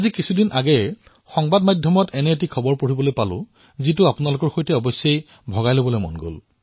অলপতে মই মিডিয়াত এনে এক ঘটনা পঢ়িলো যাক আপোনালোকৰ সৈতে নিশ্চয় বিনিময় কৰিম